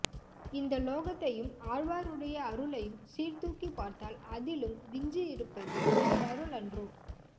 இந்த லோகத்தையும் ஆழ்வாருடைய அருளையும் சீர் தூக்கிப் பார்த்தால் அதிலும் விஞ்சி இருப்பது இவர் அருள் அன்றோ